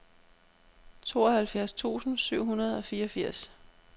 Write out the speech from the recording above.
tooghalvfjerds tusind syv hundrede og fireogfirs